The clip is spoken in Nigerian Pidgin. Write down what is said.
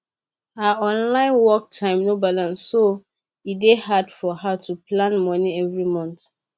her online work time no balance so e dey hard for her to plan money every month